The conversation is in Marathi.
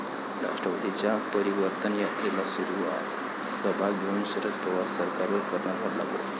राष्ट्रवादीच्या परिवर्तन यात्रेला सुरूवात, सभा घेऊन शरद पवार सरकारवर करणार हल्लाबोल